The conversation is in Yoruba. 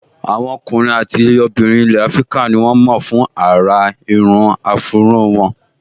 Àwọn ọkùnrin àti obìnrin ilẹ̀ áfríkà ní wọ́n mọ̀ fún àrà irun áfúró wọn